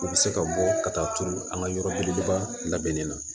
U bɛ se ka bɔ ka taa turu an ka yɔrɔ belebeleba labɛnni na